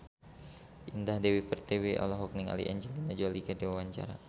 Indah Dewi Pertiwi olohok ningali Angelina Jolie keur diwawancara